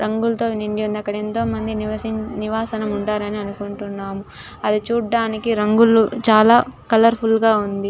రంగులతో నిండి ఉంద అక్కడ ఎంతో మంది నివాసి నివాసం ఉంటారు అనుకుంటున్నా. అది చూడటానికి రంగులు చాలా కలర్ ఫుల్ గా ఉంది.